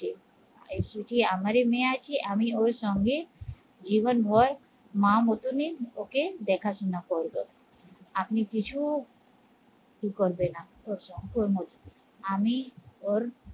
এ শুধু আমারই মেয়ে আছে, আমি ওর সঙ্গে জীবন ভর মা মতন এই ওকে দেখাশোনা করবো আপনই কিছু ই করবে না ওরমধ্যে আমি ওর